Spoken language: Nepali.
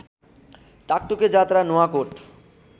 टाकटुके जात्रा नुवाकोट